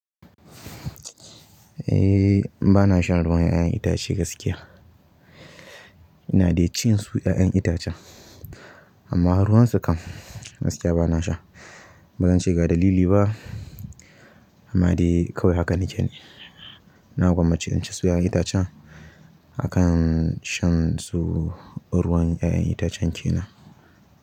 Eh bana shan ruwan 'ya'yan itace gaskiya. Ina dai cin su 'ya'yan itacen amma ruwansu kam gaskiya bana sha. Bazan ce ga ɗalili ba amma dai kawai haka nake ne. Na gwammace in ci su 'ya'yan itacen akan shan su ruwan 'ya'yan itacen kenan.